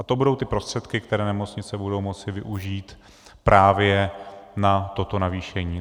A to budou ty prostředky, které nemocnice budou moci využít právě na toto navýšení.